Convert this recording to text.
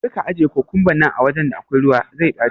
karka ajiye kukumban nan awajan da akwai ruwa, zai ɓaci.